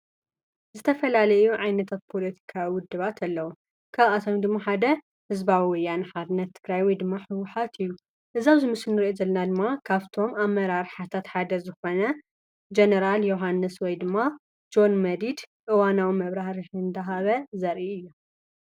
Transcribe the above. ዝተፈላለዩ ዓይነታት ፖለቲካዊ ውድባት ኣለዉ። ካብኣቶም ድማ ሓደ ሕዝባዊ ወያነ ሓርነት ትግራይ ወይ ድማ ህወሓት እዩ። እዚ አብዚምስሊ ንሪኦ ዘልና ድማ ካብቶም ኣመራርሓታት ሓደ ዝኾነ ጀነራል ዮሓንስ ወይ ድማ ጆን መዲድ እዋናዊ መብራህርሂ እንዳሃበ ዘርኢ እዩ።